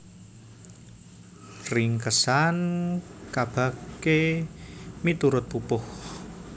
Ringkesan kabagé miturut pupuh